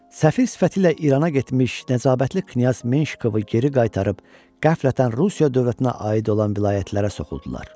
Səfir sifəti ilə İrana getmiş Nəcabətli knyaz Menşikovu geri qaytarıb qəflətən Rusiya dövlətinə aid olan vilayətlərə soxuldular.